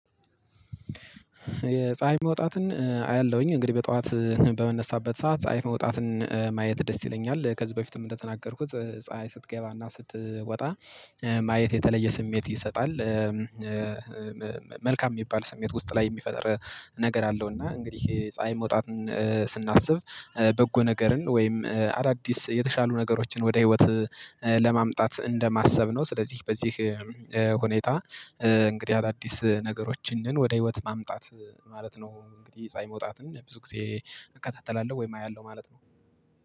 የፀሀይ መውጣትን አያለሁኝ እንግዲህ በጠዋት በመነሳበት ሰዓት ፀሀይ መውጣትን ማየት ደስ ይለኛል ከዚህ በፊትም እንደተናገርኩት ፀሀይ ስትገባና ስትወጣ ማየት የተለየ ስሜት ይሰጣል። መልካም የሚባል ስሜት ውስጥ ላይ የሚፈጥር ነገር አለው። እና እንግዲህ ፀሀይ መውጣትን ስናስብ በጎ ነገርን ወይም አዳዲስ የተሻሉ ነገሮችን ወደ ህይወት ለማምጣት እንደማሰብ ነው። ስለዚህ በዚህ ሁኔታ እንግዲህ አዳዲስ ነገሮችን ወደ ህይወት ማምጣት ማለት ነው። እንግዲህ ፀአይ መውጣትን ብዙ ጊዜ እካታተላለሁ ወይም አያለሁ ማለት ነው